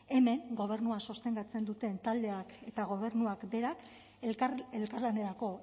hemen gobernua sostengatzen duten taldeak eta gobernuak berak elkarlanerako